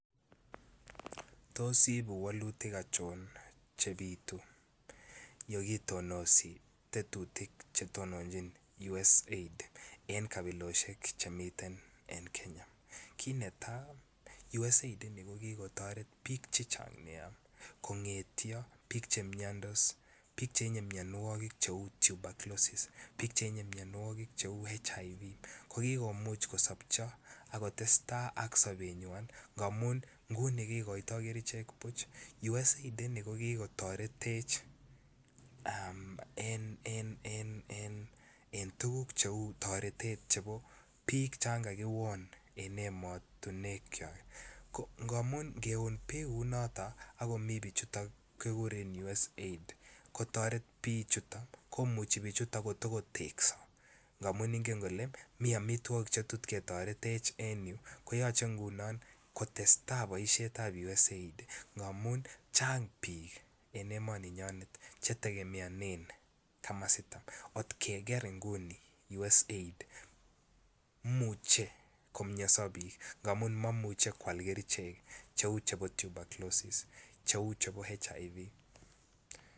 Tos ibuu wolutik achon Che bitu yon kitonosi tetutik Che tononjin USAID en kabilosiek Che miten en Kenya kit netai USAID ini ko ki kotoret bik Che Chang kongeten bik Che miandos bik chetinye mianwogik cheu tuberculosis bik chetinye mianwogik cheu Hiv ko ki komuch kosopcho ak kotestai ak sobenywa ngamun nguni kikoitoi kerichek buch USAID ini ko ki kotoretech en tuguk cheu chon bik kagiwon en emotinwekwak angeon bik kou noton ak komii bichuto kiguren USAID ko kotoret bichuto ko muchi bichuto ko to tekso angamun ingen kole miten amitwogik Che tot ketorech en yu koyoche ngunon kotestai boisietab USAID ngamun chang bik en emoni nyon Che tegemeanen komosito